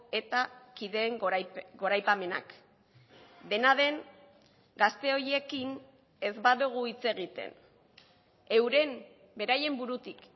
eta kideen goraipamenak dena den gazte horiekin ez badugu hitz egiten euren beraien burutik